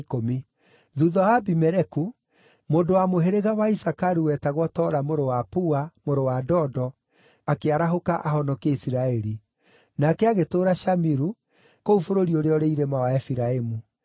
Thuutha wa Abimeleku, mũndũ wa mũhĩrĩga wa Isakaru wetagwo Tola mũrũ wa Pua, mũrũ wa Dodo, akĩarahũka ahonokie Isiraeli. Nake agĩtũũra Shamiru, kũu bũrũri ũrĩa ũrĩ irĩma wa Efiraimu.